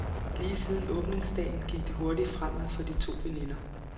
Lige siden åbningsdagen gik det hurtigt fremad for de to veninder.